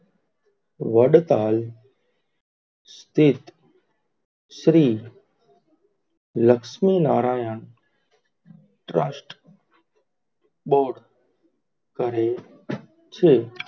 વડતાલ સ્થિત Shri Laxminarayan trust board કરે છે.